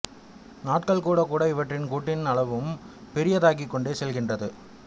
நாட்கள் கூடக் கூட இவற்றின் கூட்டின் அளவும் பெரியதாகிக் கொண்டே செல்கின்றது